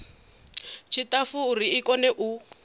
tshiṱafu uri i kone u